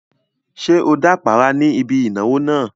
Ṣé o dápàárá ní ibi ìnáwó náà?